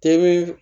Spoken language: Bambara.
Tebi